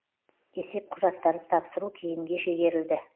есеп құжаттарын тапсыру кейінге шегерілді